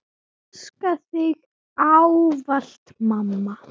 Elska þig ávallt mamma.